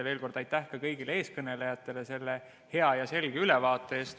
Aitäh ka kõigile eelkõnelejatele selle hea ja selge ülevaate eest.